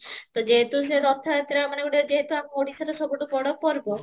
ତ ଯେହେତୁ ସିଏ ରଥ ଯାତ୍ରା ମାନେ ଗୋଟେ ଯେହେତୁ ଆମ ଓଡିଶାର ସବୁଠୁ ବଡ ପର୍ବ